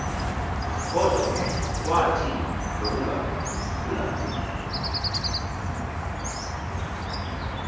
kodwa kwathi ngokungaphulaphuli